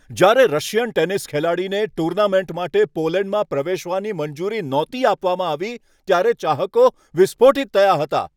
જ્યારે Russian tennis ખેલાડીને tournament માટે પોલેન્ડમાં પ્રવેશવાની મંજૂરી નહોતી આપવામાં આવી ત્યારે ચાહકો વિસ્ફોટીટ થયા હતા.